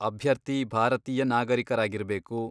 ಅಭ್ಯರ್ಥಿ ಭಾರತೀಯ ನಾಗರೀಕರಾಗಿರ್ಬೇಕು.